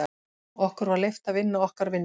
Okkur var leyft að vinna okkar vinnu.